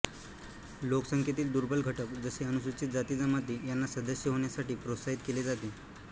लोकसंख्येतील दुर्बल घटक जसे अनुसूचित जातीजमाती यांना सदस्य होण्यासाठी प्रोत्साहित केले जाते